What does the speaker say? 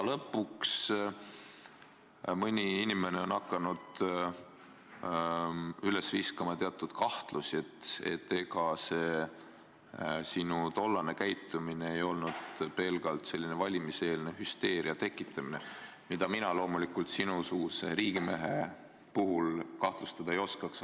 Lõpuks, mõni inimene on hakanud õhku viskama teatud kahtlusi, et ega sinu tollane käitumine ei olnud pelgalt valimiseelne hüsteeria tekitamine, mida mina loomulikult sinusuguse riigimehe puhul kahtlustada ei oskaks.